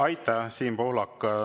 Aitäh, Siim Pohlak!